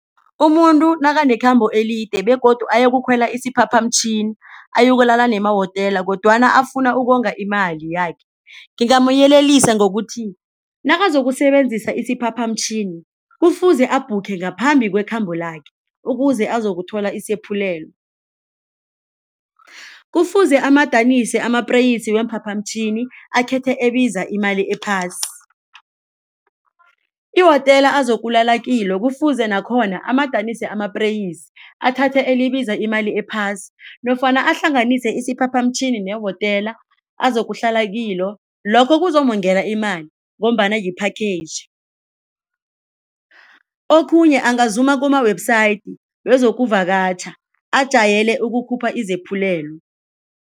Umuntu nakanekhambo elide begodu ayokukhwela isiphaphamtjhini ayokulala nemawotela kodwana afuna ukonga imali yakhe. Ngingamyelelisa ngokuthi nakazokusebenzisa isiphaphamtjhini kufuze abhukhe ngaphambi kwekhambo lakhe ukuze uzokuthola isaphulelo. Kufuze amadanise amapreysi weemphaphamtjhini akhethe ebiza imali ephasi. Iwotela azokulala kilo kufuze nakhona amadanise amapreysi athathe elibiza imali ephasi nofana ahlanganise isiphaphamtjhini newotela azokuhlala kilo lokho kuzomongela imali ngombana yi-package. Okhunye angazuma kuma-website wezokuvakatjha ajayele ukukhupha izaphulelo.